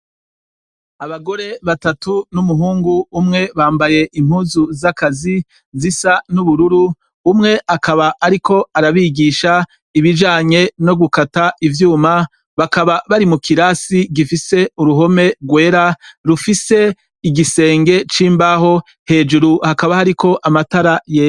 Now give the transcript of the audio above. Abagore batatu n'umuhungu umwe bambaye impuzu z'akazi zisa n'ubururu, umwe akaba ariko arabigisha ibijanye no gukata ivyuma, bakaba bari mu kirasi gifise uruhome rwera rufise igisenge c'imbaho, hejuru hakaba hariko amatara yera.